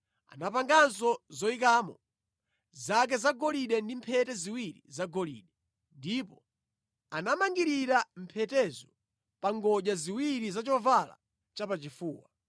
Anapanganso zoyikamo zake zagolide ndi mphete ziwiri zagolide, ndipo anamangirira mphetezo pa ngodya ziwiri za chovala chapachifuwa.